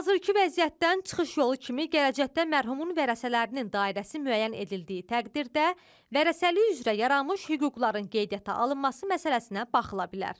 Hazırki vəziyyətdən çıxış yolu kimi gələcəkdə mərhumun vərəsələrinin dairəsi müəyyən edildiyi təqdirdə vərəsəlik üzrə yaranmış hüquqların qeydə alınması məsələsinə baxıla bilər.